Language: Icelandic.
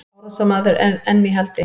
Árásarmaður enn í haldi